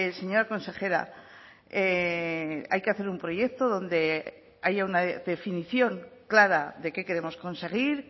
señora consejera hay que hacer un proyecto donde haya una definición clara de qué queremos conseguir